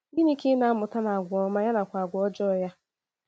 Gịnị Ka ị na - amụta n’agwà ọma, ya nakwa n’agwà ọjọọ ya?